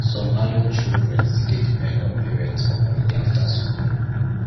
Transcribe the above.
some adult children still dey depend on parents for money after school